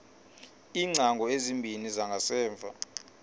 iingcango ezimbini zangasemva